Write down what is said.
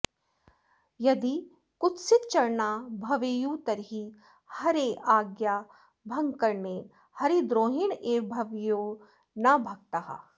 यदि कुत्सितचरणा भवेयुस्तर्हि हरेराज्ञाभङ्गकरणेन हरिद्रोहिण एव भवेयुः न् भक्ताः